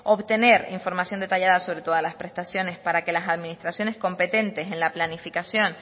obtener información detallada sobre todas las prestaciones para que las administraciones competentes en la planificación